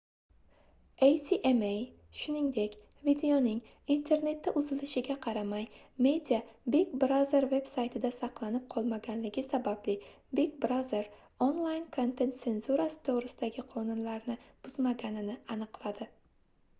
acma shuningdek videoning internetda uzatilishiga qaramay media big brother veb-saytida saqlanib qolmaganligi sababli big brother onlayn kontent senzurasi toʻgʻrisidagi qonunlarni buzmaganini aniqladi